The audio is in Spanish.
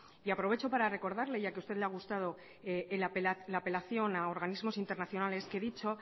y aprovecho para recordarle ya que a usted le ha gustado la apelación a organismos internacionales que dicha